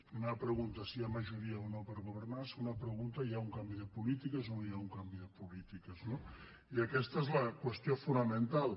primera pregunta si hi ha majoria o no per go·vernar segona pregunta hi ha un canvi de polítiques o no hi ha un canvi de polítiques no i aquesta és la qüestió fonamental